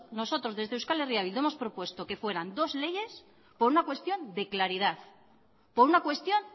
nosotros desde euskal herria bildu hemos propuesto que fueran dos leyes por una cuestión de claridad por una cuestión